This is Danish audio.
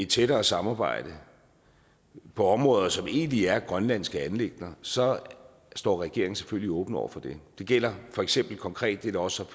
tættere samarbejde på områder som egentlig er grønlandske anliggender så står regeringen selvfølgelig åben over for det det gælder for eksempel konkret det der også